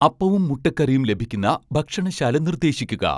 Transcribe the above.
അപ്പവും മുട്ടക്കറിയും ലഭിക്കുന്ന ഭക്ഷണശാല നിർദ്ദേശിക്കുക